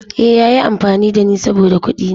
Eh, ya yi amfani da ni saboda kuɗina.